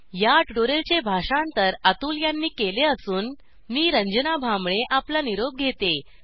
या ट्युटोरियलचे भाषांतर अतुल यांनी केले असून मी रंजना भांबळे आपला निरोप घेते